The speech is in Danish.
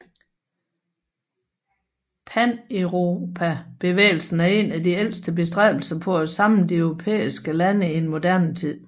Paneuropabevægelsen er en af de ældste bestræbelser på at samle de europæiske lande i moderne tid